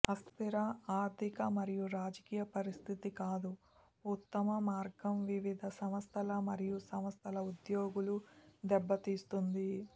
అస్థిర ఆర్థిక మరియు రాజకీయ పరిస్థితి కాదు ఉత్తమ మార్గం వివిధ సంస్థల మరియు సంస్థల ఉద్యోగులు దెబ్బతీస్తుంది